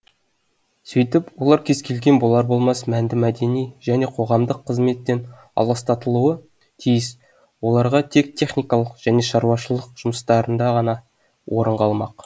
сөйтіп олар кез келген болар болмас мәнді мәдени және қоғамдық қызметтен аластатылуы тиіс оларға тек техникалық және шаруашылық жұмыстарында ғана орын қалмақ